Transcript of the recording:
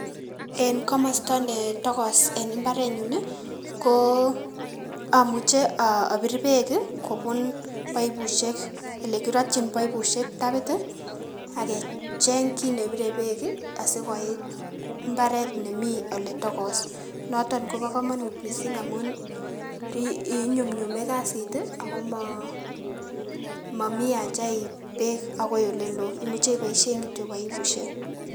En komosto netokos en imbarenyun nii omuche obir peek kii kobun baibushek ole kirotyin baibushek tapit tii ak kecheng kit nebire peek kii asikoit imbaret nemii ole tokos noton kobo komonut missing amun inyumyume kasit tii ako momi aja iip beek akoi ole loo imuche iboishen kityok baibushek.